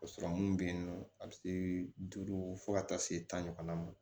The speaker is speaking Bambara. Ka sɔrɔ mun be yen nɔ a be se duuru fo ka taa se tan ɲɔgɔnna ma